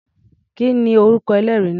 Kí ni orúkọ ẹlẹ́rìí náà?